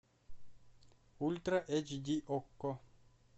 ультра эйч ди окко